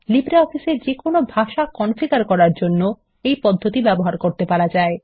LibreOffice এ যেকোন ভাষা কনফিগার করার জন্য এই পদ্ধতি ব্যবহার করতে পারা যায়